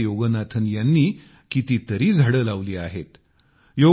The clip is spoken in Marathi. अशा प्रकारे योगनाथन यांनी कितीतरी झाडे लावली आहेत